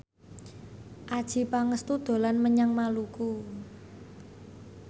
Adjie Pangestu dolan menyang Maluku